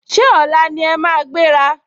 Ṣé ọ̀la ni ẹ máa gbéra?